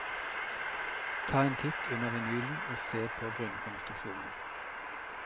Ta en titt under vinylen og se på grunnkonstruksjonen.